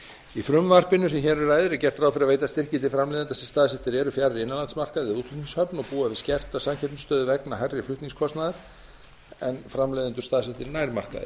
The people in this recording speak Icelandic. í frumvarpinu sem hér um ræðir er gert ráð fyrir að veita styrki til framleiðenda sem staðsettir eru fjarri innanlandsmarkaði og útflutningshöfn og búa við skerta samkeppnisstöðu vegna hærri flutningskostnaðar en framleiðendur staðsettir nær markaði